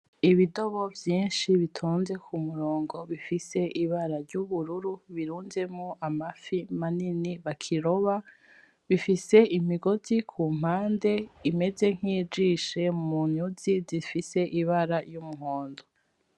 Ibidobo vyinshi bitonze ku murongo bifise ibara ry'ubururu birunzemwo amafi manini bakiroba bifise imigozi ku mpande imeze nkijishe munyuzi zifise ibara y'umuhondo .